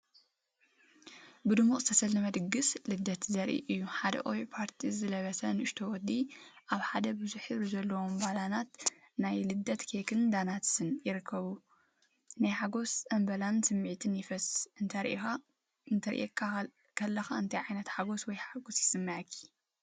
ብድሙቕ ዝተሰለመ ድግስ ልደት ዘርኢ እዩ። ሓደ ቆቢዕ ፓርቲ ዝለበሰ ንእሽቶ ወዲ፡ ኣብ ሓደ ብዙሕ ሕብሪ ዘለዎም ባሎናት፡ ናይ ልደት ኬክን ዶናትስን ይርከብ። ናይ ሓጎስን ጽምብልን ስምዒት ይፈስስ። እንተሪኢኻ ከለኻ እንታይ ዓይነት ሓጎስ ወይ ሓጎስ ይስምዓካ?